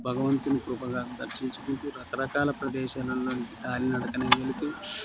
భగవంతుని కృపగా దరిశిన్చుకుంటూ రక రకాల ప్రదేశాల్లను కాళీ నడుకనే వెళ్ళుతు --